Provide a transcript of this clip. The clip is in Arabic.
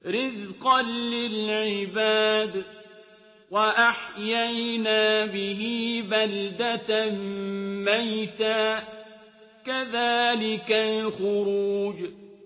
رِّزْقًا لِّلْعِبَادِ ۖ وَأَحْيَيْنَا بِهِ بَلْدَةً مَّيْتًا ۚ كَذَٰلِكَ الْخُرُوجُ